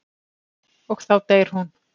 Og þá deyr hún.